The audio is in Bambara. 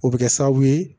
O bɛ kɛ sababu ye